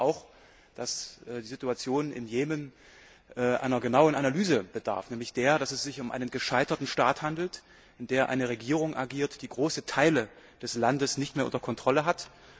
Ich glaube auch, dass die Situation im Jemen einer genauen Analyse bedarf, nämlich der, dass es sich um einen gescheiterten Staat handelt, in dem eine Regierung agiert, die große Teile des Landes nicht mehr unter Kontrolle hat.